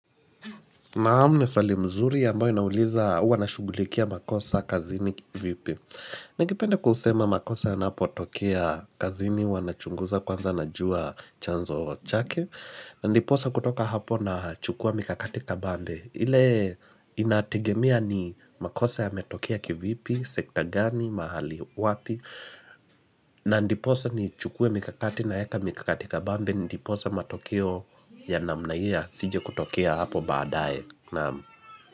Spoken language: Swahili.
Naam ni swali mzuri ambayo inauliza huwa nashughulikia makosa kazini vipi. Ningependa kusema makosa yanapotokea kazini huwa nachunguza kwanza najua chanzo chake. Na ndiposa kutoka hapo nachukua mikakati kabambe. Ile inategemia ni makosa yametokia kivipi, sekta gani, mahali, wapi. Na ndiposa nichukue mikakati naeka mikakati kabambe ndiposa matokeo ya namna hii yasije kutokia hapo baadae. Naam.